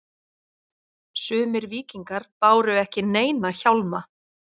Sumir víkingar báru ekki neina hjálma.